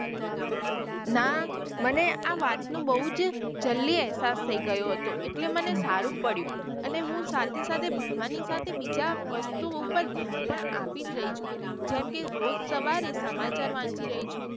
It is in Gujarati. ના મને આ વાત નો બઉ જ જલ્દી એહસાસ થઇ ગયો હતો એટલે મને સારું પડ્યું અને હું સાથે સાથે ભણવાની સાથે બીજા વસ્તુઓ પાર ધ્યાન પણ આપી જ રહી છું જેમકે રોજ સવારે સમાચાર વાંચી રહી છું.